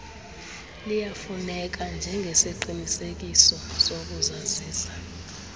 liyafuneka njengesiqinisekiso sokuzazisa